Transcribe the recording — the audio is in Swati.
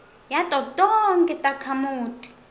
yato tonkhe takhamuti